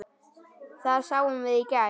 Það sáum við í gær.